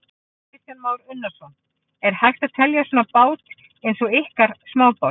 Kristján Már Unnarsson: Er hægt að telja svona bát eins og ykkar smábát?